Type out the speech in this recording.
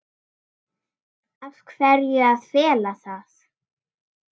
Af hverju að fela það?